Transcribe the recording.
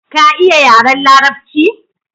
Ka iya yaren larabci?